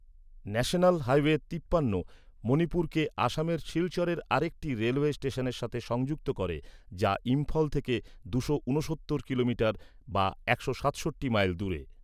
National highway তিপ্পান্ন মণিপুরকে আসামের শিলচরের আরেকটি রেলওয়ে স্টেশনের সাথে সংযুক্ত করে, যা ইম্ফল থেকে দুশো ঊনসত্তর কিলোমিটার বা একশো সাতষট্টি মাইল দূরে।